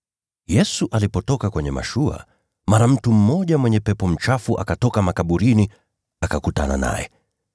Yesu alipotoka kwenye mashua, mara mtu mmoja mwenye pepo mchafu akatoka makaburini akakutana naye.